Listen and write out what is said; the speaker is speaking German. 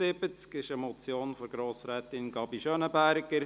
Es ist eine Motion von Grossrätin Gabi Schönenberger: